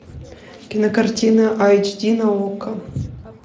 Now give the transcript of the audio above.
кинокартина айч ди на окко